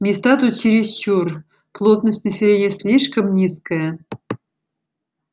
места тут чересчур плотность населения слишком низкая